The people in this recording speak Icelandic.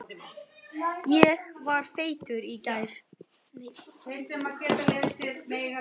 Enda þótt